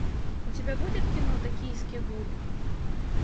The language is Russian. у тебя будет кино токийский гуль